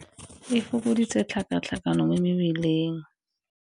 E fokoditse tlhakatlhakano mo mebileng.